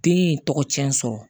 Den ye tɔgɔ tiɲɛ sɔrɔ